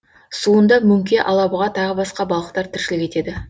суында мөңке алабұға тағы басқа балықтар тіршілік етеді